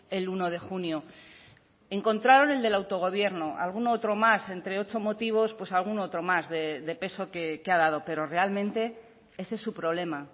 el uno de junio encontraron el del autogobierno algún otro más entre ocho motivos pues algún otro más de peso que ha dado pero realmente ese es su problema